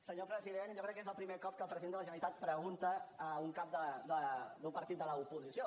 senyor president jo crec que és el primer cop que el president de la generalitat pregunta al cap d’un partit de l’oposició